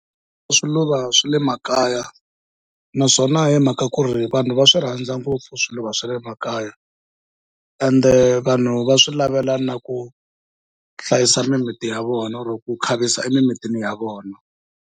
Swiluva swi le makaya, naswona hi mhaka ku ri vanhu va swi rhandza ngopfu swiluva swa le makaya, ende vanhu va swi lavela na ku hlayisa mimiti ya vona or ku khavisa emimitini ya vona.